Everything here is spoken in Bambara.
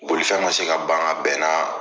Bolifɛn ma se ka ban ka bɛn n'a